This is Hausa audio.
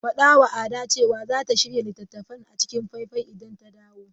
Faɗawa Ada cewa za ta shirya littattafan a cikin faifai idan ta dawo.